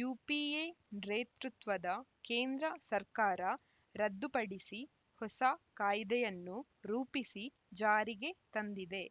UPA ಡ್ರೇತೃತ್ವದ ಕೇಂದ್ರ ಸರ್ಕಾರ ರದ್ದುಪಡಿಸಿ ಹೊಸ ಕಾಯ್ದೆಯನ್ನು ರೂಪಿಸಿ ಜಾರಿಗೆ ತಂದಿದೆ